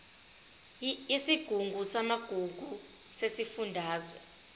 yesigungu samagugu sesifundazwe